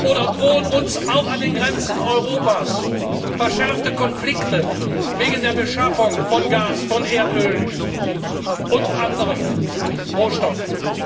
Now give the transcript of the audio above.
Oder drohen uns auch an den Grenzen Europas verschärfte Konflikte wegen der Beschaffung von Gas, von Erdöl und anderen Rohstoffen?